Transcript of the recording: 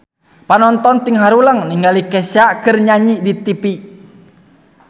Panonton ting haruleng ningali Kesha keur nyanyi di tipi